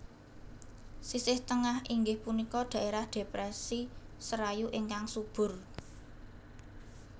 Sisih Tengah inggih punika dhaerah Depresi Serayu ingkang subur